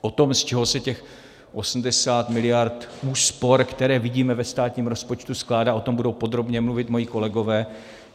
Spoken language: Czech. O tom, z čeho se těch 80 miliard úspor, které vidíme ve státním rozpočtu, skládá, o tom budou podrobně mluvit moji kolegové.